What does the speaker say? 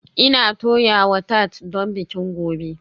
Ina toyawa tart don bikin gobe